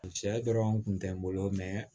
Cɛ dɔrɔn kun tɛ n bolo mɛ